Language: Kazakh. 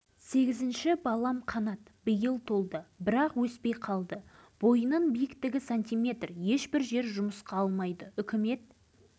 мектепті жақсы бітірді амал нешік осынау ядролық сынақтың салдарынан кемтар болып өмірден өз орнын таба алмай жүр